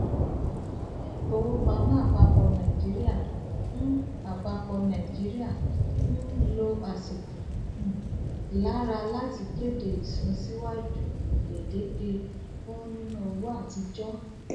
ilé ìfowópamọ àpapọ nàìjíríà n àpapọ nàìjíríà n lọ àsìkò um lára láti kéde isunsiwaju gbedeke fún nínà owó àtijọ